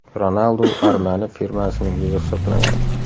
Ronaldu Armani firmasining yuzi hisoblanadi.